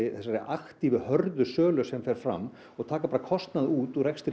þessari aktífu hörðu sölu sem fer fram og taka bara kostnað út úr rekstri